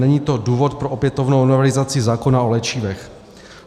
Není to důvod pro opětovnou novelizaci zákona o léčivech.